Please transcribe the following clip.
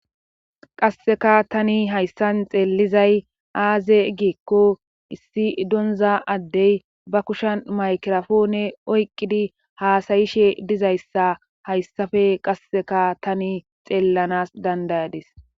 Qasseka tani hayssan xeelizay aaze giikko issi donza addey ba kushan maykirafoone oyqqidi haasayishe dizayssa hayssafe qasseka tani xeellanas dandayadis.